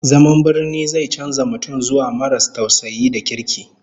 Zaman birni zai canza mutum zuwa maras tausayi da kirki